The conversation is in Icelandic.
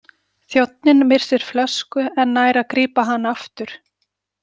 Þjónninn missir flösku en nær að grípa hana aftur.